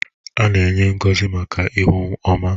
A na-enye ngọzi maka ihu ọma.